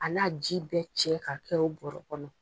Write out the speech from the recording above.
A n'a ji bɛɛ cɛ ka kɛ o bɔrɔ kɔnɔ.